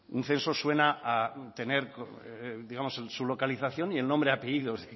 un censo suena a tener digamos en su localización el nombre y apellidos